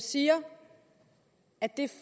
siger at det er